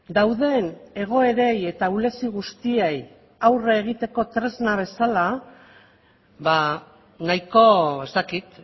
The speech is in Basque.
dauden egoerei eta ahulezi guztiei aurre egiteko tresna bezala ba nahiko ez dakit